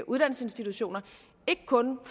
uddannelsesinstitutioner ikke kun